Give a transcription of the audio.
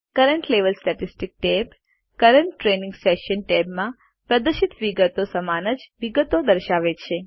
current level statistics tab current training session ટેબમાં પ્રદર્શિત વિગતો સમાન જ વિગતો દર્શાવે છે